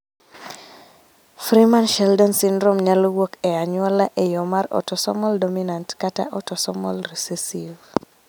Freeman Sheldon syndrome nyalo wuok e anyuola e yo mar autosomal dominant kata autosomal recessive